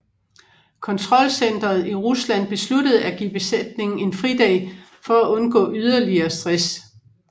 Kontrolcenteret i Rusland besluttede at give besætningen en fridag for at undgå yderligere stress